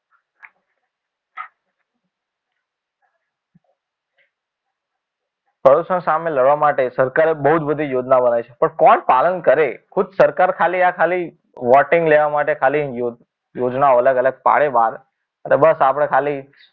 પ્રદૂષણ સામે લડવા માટે સરકારે બહુ જ બધી યોજના બનાવી છે પણ કોણ પાલન કરે ખુદ સરકાર ખાલી આ ખાલી voting લેવા માટે ખાલી યોજના અલગ અલગ પાડે એટલે બસ આપણે ખાલી